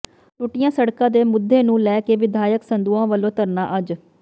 ਟੁੱਟੀਆਂ ਸੜਕਾਂ ਦੇ ਮੁੱਦੇ ਨੂੰ ਲੈ ਕੇ ਵਿਧਾਇਕ ਸੰਦੋਆ ਵਲੋਂ ਧਰਨਾ ਅੱਜ